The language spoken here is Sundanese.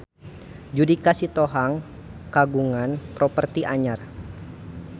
Judika Sitohang kagungan properti anyar